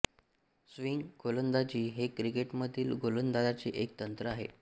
swing गोलंदाजी हे क्रिकेटमधील गोलंदाजीचे एक तंत्र आहे